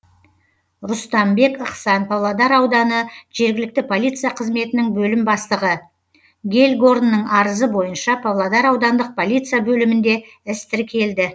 рұстамбек ықсан павлодар ауданы жергілікті полиция қызметінің бөлім бастығы гельгорнның арызы бойынша павлодар аудандық полиция бөлімінде іс тіркелді